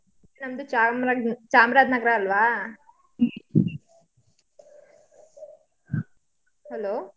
ನಮ್ದು ಚಾರ್ಮ್ರಾಜ್~ ಚಾಮ್ರಾಜ್ನಗ್ರ ಅಲ್ವಾ? Hello .